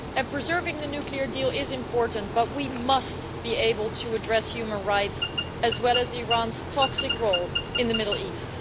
Preserving the nuclear deal is important, but we must be able to address human rights as well as Iran's toxic role in the Middle East.